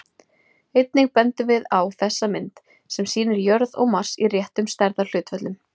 Einnig bendum við á þessa mynd, sem sýnir jörð og Mars í réttum stærðarhlutföllum.